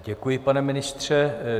Děkuji, pane ministře.